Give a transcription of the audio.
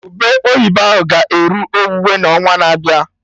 Ube oyibo ahụ ga-eru owuwe n'ọnwa na-abịa